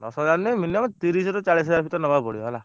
ଦଶହଜାରେ ନୁହେଁ minimum ତିରିଶ ରୁ ଚାଲିଶ ହଜାରେ ଭିତରେ ନବାକୁ ପଡିବ ହେଲା।